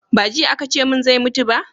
ba jiya a ka ce mun zai mutu ba?